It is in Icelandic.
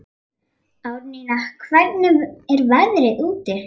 Árnína, hvernig er veðrið úti?